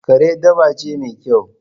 Kare dabba ce mai kyau